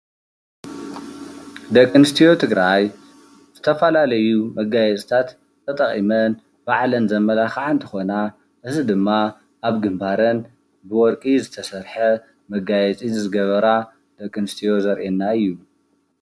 ደቂ ኣንስትዮ ትግራይ ዝተፈላለዩ መጋየፅታት ተጠቒመን ባዕለን ዘመላኽዓ እንትኾና እዚ ድማ ኣብ ግንባረን ብወርቂ ዝተሰርሐ መጋየፂ ዝገበራ ደቂ ኣንስትዮ ዘርእየና እዩ፡፡